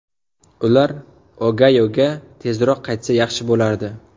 Ular Ogayoga tezroq qaytsa yaxshi bo‘lardi.